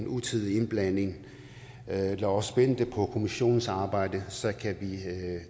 utidig indblanding lad os vente på kommissionens arbejde så kan vi